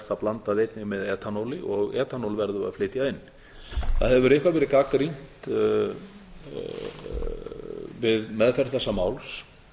það blandað einnig með etanóli og etanól verður að flytja inn það hefur eitthvað verið gagnrýnt við meðferð þessa máls